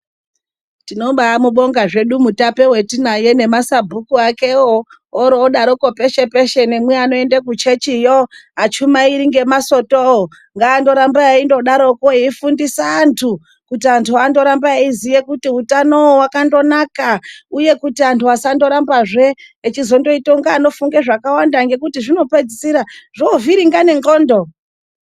Tinoba mubonga mutape watinaye nemasabhuku akewo orodaro peshe peshe, nemianoenda kuchechiyo, achumairi ngemasoto, ngangoramba eingodaro eifundisa antu kuti antu arambe achiziva kuti utano wemuntu wakanaka uye kuti antu asaramba zve achizoita achifunga zvakawanda ngekuti zvinopedzisira zvovhiringa nenxondo.